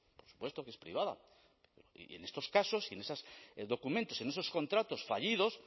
por supuesto que es privada y en estos casos y en esos documentos en esos contratos fallidos